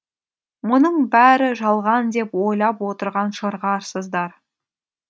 мұның бәрі жалған деп ойлап отырған шығарсыздар